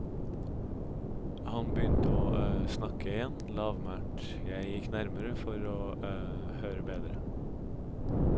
Han begynte å snakke igjen, lavmælt, jeg gikk nærmere for å høre bedre.